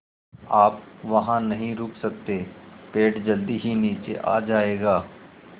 आप वहाँ नहीं रुक सकते पेड़ जल्दी ही नीचे आ जाएगा